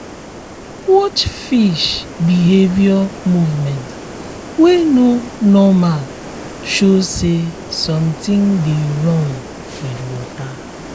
watch fish behavior movement wey no normal show say something dey wrong with water